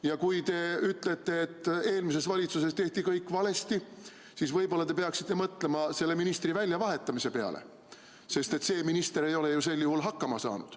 Ja kui te ütlete, et eelmises valitsuses tehti kõik valesti, siis võib-olla te peaksite mõtlema selle ministri väljavahetamise peale, sest see minister ei ole ju sel juhul hakkama saanud.